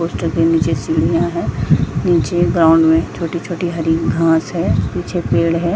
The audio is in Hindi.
पोस्टर के नीचे सीढ़िया है नीचे ग्राउंड में छोटी - छोटी हरी घास है पीछे पेड़ है।